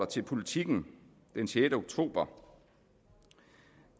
til politiken den sjette oktober